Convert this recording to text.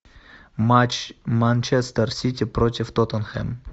матч манчестер сити против тоттенхэм